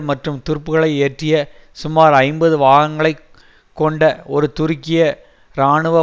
மற்றும் துருப்புகளை ஏற்றிய சுமார் ஐம்பது வாகனங்களை கொண்ட ஒரு துருக்கிய இராணுவ